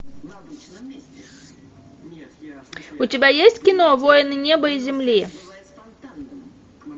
у тебя есть кино воины неба и земли